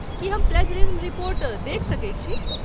की हम plagiarism report देखि सकैत छी?